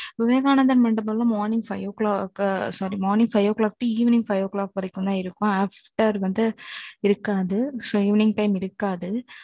இது, விவேகானந்தர் மண்டபம்ல, morning five o'clock sorry morning five o'clock to evening five o' clock வரைக்கும்தான் இருக்கும். after வந்து இருக்காது so evening time இருக்காது